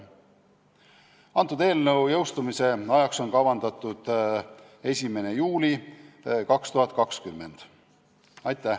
Eelnõu seadusena jõustumise ajaks on kavandatud 1. juuli 2020.